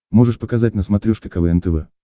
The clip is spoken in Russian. можешь показать на смотрешке квн тв